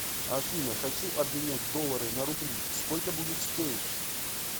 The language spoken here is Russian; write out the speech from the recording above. афина хочу обменять доллары на рубли сколько будет стоить